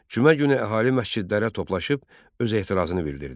Cümə günü əhali məscidlərə toplaşıb öz etirazını bildirdi.